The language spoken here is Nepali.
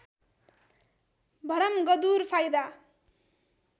भरमगदुर फाइदा